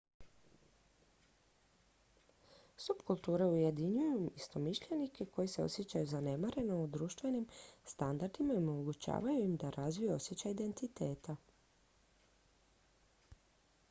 subkulture ujedinjuju istomišljenike koji se osjećaju zanemareno društvenim standardima i omogućavaju im da razviju osjećaj identiteta